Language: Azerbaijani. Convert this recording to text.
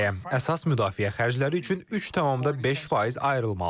Əsas müdafiə xərcləri üçün 3,5% ayrılmalıdır.